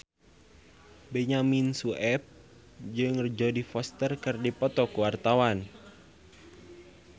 Benyamin Sueb jeung Jodie Foster keur dipoto ku wartawan